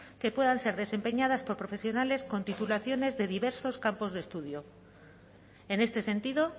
que puedan ser desempeñadas por profesionales con titulaciones de diversos campos de estudio en este sentido